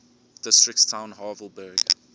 districts town havelberg